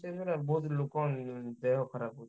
Change ହେଲାବେଳକୁ ବହୁତ୍ ଲୋକ ଦେହ ଖରାପ ହଉଛି।